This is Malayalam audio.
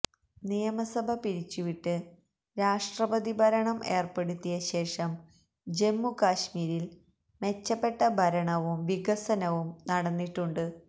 നിയമസഭ പിരിച്ചു വിട്ട് രാഷ്ട്രപതി ഭരണം ഏര്പ്പെടുത്തിയ ശേഷം ജമ്മു കശ്മീരില് മെച്ചപ്പെട്ട ഭരണവും വികസനവും നടന്നിട്ടുണ്ട്